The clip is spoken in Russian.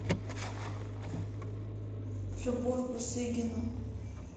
любовь бусыгину